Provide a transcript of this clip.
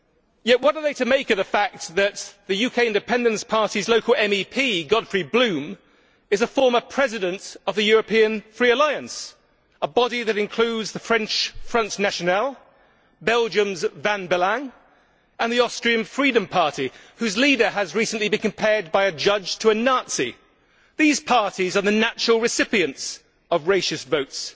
Yet what are they to make of the fact that the UK Independence Party's local MEP, Godfrey Bloom, is a former president of the European Alliance for Freedom, a body that includes the French Front National, Belgium's Vlaams Belang and the Austrian Freedom Party, whose leader has recently been compared by a judge to a Nazi? These parties are the natural recipients of racist votes.